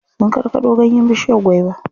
Sun karkaɗo ganyen bishiyar gwaiba.